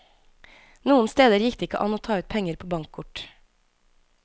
Noen steder gikk det ikke an å ta ut penger på bankkort.